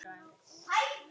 Inn í húsið?